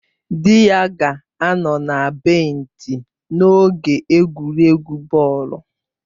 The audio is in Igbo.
Di ya ga-anọ na benchi n'oge egwuregwu bọọlụ